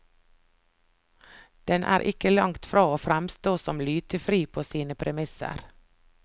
Den er ikke langt fra å fremstå som lytefri på sine premisser.